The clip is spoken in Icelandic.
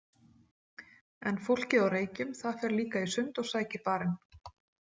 En fólkið á Reykjum, það fer líka í sund og sækir barinn.